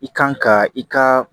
I kan ka i ka